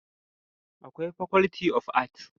Akwai faculty of art